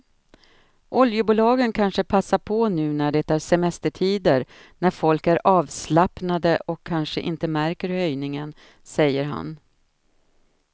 Oljebolagen kanske passar på nu när det är semestertider när folk är avslappnade och kanske inte märker höjningen, säger han.